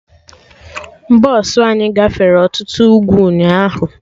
Bọsụ anyị gafere ọtụtụ ugwu ụnyaahụ